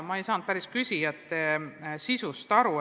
Ma ei saanud päris hästi küsimuse sisust aru.